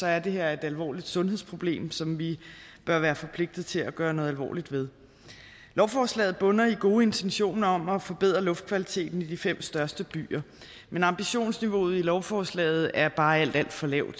er det her et alvorligt sundhedsproblem som vi bør være forpligtet til at gøre noget alvorligt ved lovforslaget bunder i gode intentioner om at forbedre luftkvaliteten i de fem største byer men ambitionsniveauet i lovforslaget er bare alt alt for lavt